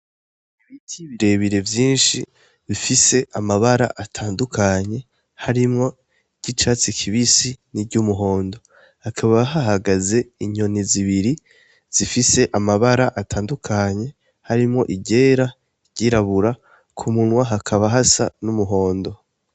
Biki ibirebire vyinshi bifise amabara atandukanye harimwo ry'icatsi kibisi ni ry'umuhondo hakaba hahagaze inyoni zibiri zifise amabara atandukanye harimwo igera ryirabura ku munwa hakaba hasa n'umuhondo.